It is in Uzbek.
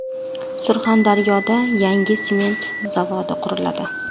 Surxondaryoda yangi sement zavodi quriladi.